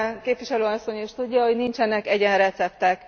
Képviselő asszony is tudja, hogy nincsenek egyenreceptek.